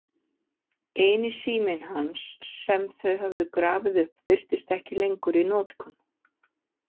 Eini síminn hans sem þau höfðu grafið upp virtist ekki lengur í notkun.